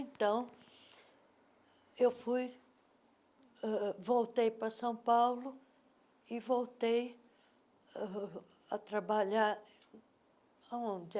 Então, eu fui, voltei para São Paulo e voltei uh a trabalhar onde?